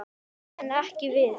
En ekki við.